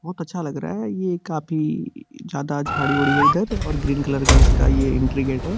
बोहोत अच्छा लग रहा है ये काफी ज्यादा झाड़ी उडी है इधर और ग्रीन कलर का इस का ये एंटरी गेट है।